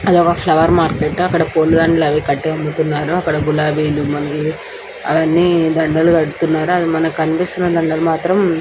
అక్కడ చూసినట్టు అయితే పూల షాప్ అక్కడ రోజ్ లిల్లీ పూవులు అన్ని దండాలు కట్టి ఉన్నాయి.